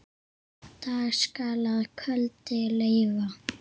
Dag skal að kveldi leyfa.